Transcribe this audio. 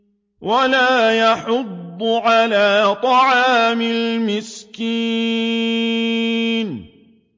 وَلَا يَحُضُّ عَلَىٰ طَعَامِ الْمِسْكِينِ